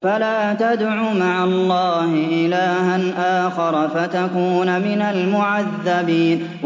فَلَا تَدْعُ مَعَ اللَّهِ إِلَٰهًا آخَرَ فَتَكُونَ مِنَ الْمُعَذَّبِينَ